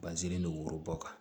Bazini don worobɔ kan